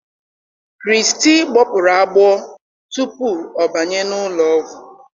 krizty gbọpụrụ agbọọ tupu ọ banye n'ụlọ ọgwụ